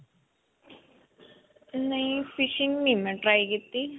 ਨਹੀਂ fishing ਨਹੀਂ ਮੈਂ try ਕੀਤੀ.